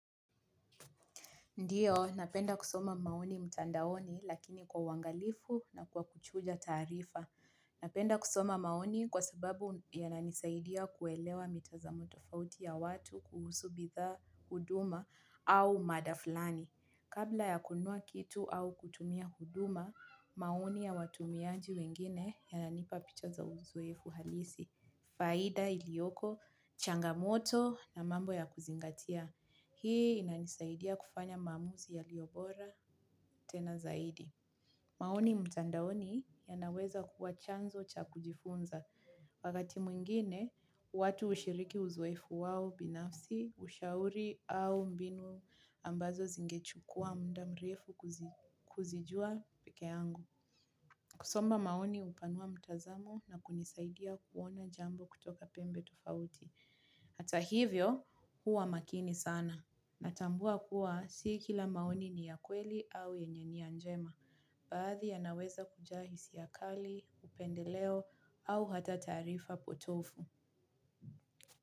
Ndiyo, napenda kusoma maoni mtandaoni lakini kwa uwangalifu na kwa kuchuja tarifa. Napenda kusoma maoni kwa sababu yananisaidia kuelewa mitazamo tofauti ya watu kuhusu bitha huduma au madafulani. Kabla ya kunua kitu au kutumia huduma, maoni ya watumiaji wengine yananipa picha za uzoefu halisi. Faida ilioko, changamoto na mambo ya kuzingatia. Hii inanisaidia kufanya mamuzi yaliobora tena zaidi. Maoni mtandaoni ya naweza kuwa chanzo cha kujifunza. Wakati mwingine, watu ushiriki uzoefu wao binafsi, ushauri au mbinu ambazo zinge chukua mda mrefu kuzijua peke yangu. Kusomo maoni hupanua mtazamo na kunisaidia kuona jambo kutoka pembe tofauti. Hata hivyo, huwa makini sana. Natambua kuwa sikila maoni ni ya kweli au yenye nia njema baadhi yanaweza kuja hisiakali, upendeleo au hata tarifa potofu.